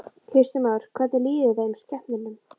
Kristján Már: Hvernig líður þeim, skepnunum?